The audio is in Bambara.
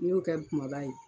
N y'o kɛ kumaba ye